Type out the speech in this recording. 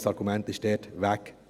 Ein Argument fiel dort weg.